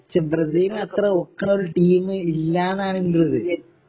പക്ഷേ ബ്രസീലിനു അത്ര ഒക്കണ ഒരു ടീമ് ഇല്ലാന്നാണ് എന്റെ ഒരു ഇത്